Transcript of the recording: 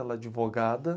Ela é advogada.